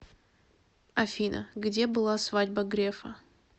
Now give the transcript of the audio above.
афина где была свадьба грефа